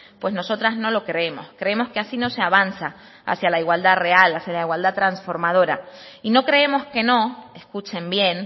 pues nosotros no lo creemos creemos que así no se avanza hacia la igualdad real hacia la igualdad transformadora y no creemos que no escuchen bien